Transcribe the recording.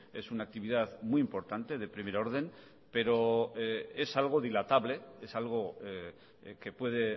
es una actividad muy importante de primer orden pero es algo dilatable es algo que puede